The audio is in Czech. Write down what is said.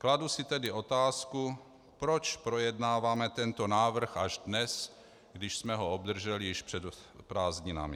Kladu si tedy otázku, proč projednáváme tento návrh až dnes, když jsme ho obdrželi již před prázdninami.